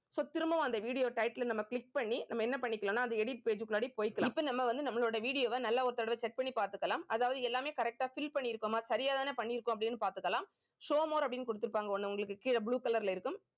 so திரும்பவும் அந்த video title ஐ நம்ம click பண்ணி நம்ம என்ன பண்ணிக்கலாம்னா அந்த edit page முன்னாடி போயிக்கலாம். இப்ப நம்ம வந்து நம்மளோட video வை நல்லா ஒரு தடவை check பண்ணி பார்த்துக்கலாம். அதாவது எல்லாமே correct ஆ fill பண்ணிருக்கோமா சரியாதானே பண்ணிருக்கோம் அப்படின்னு பார்த்துக்கலாம் show more அப்படின்னு கொடுத்திருப்பாங்க. ஒண்ணு உங்களுக்கு கீழே blue colour ல இருக்கும்